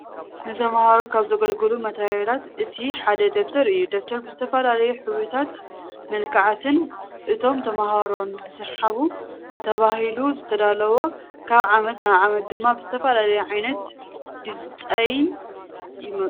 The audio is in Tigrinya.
ንተምሃሩ ካብ ዝገልግሉ ማቴሪያላት እቲ ሓደ ደብተር እዩ። ደብተር ብዝተፈላለዩ ሕብርታትን መልክዓትን እቶም ተምሃሮ ንክስሓቡ ተባህሉ ዝዳለው። ካብ ዓመት ናብ ዓመት ድማ ብዝተፈላለዩ ዓይነታት ድፃይን ይመፁ።